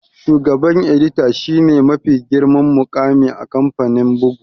Shugaban edita shi ne mafi girman muƙami a kamfanin bugu